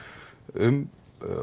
um